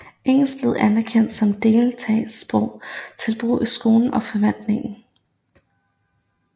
Engelsk blev anerkendt som delstatssprog til brug i skolen og forvaltningen